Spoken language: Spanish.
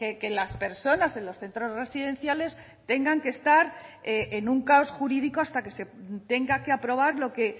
que las personas en los centros residenciales tengan que estar en un caos jurídico hasta que se tenga que aprobar lo que